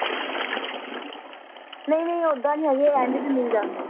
ਨਹੀਂ ਨਹੀਂ ਓਹਦਾ ਨਹੀਂ ਹੈਗੀ ਇਹ end ਚ ਮਿਲ ਜਾਂਦੇ ਆ